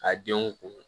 Ka denw kun